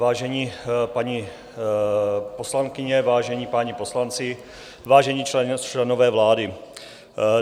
Vážené paní poslankyně, vážení páni poslanci, vážení členové vlády.